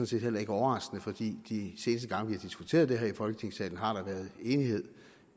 set heller ikke overraskende for de seneste gange vi har diskuteret det her i folketingssalen har der været enighed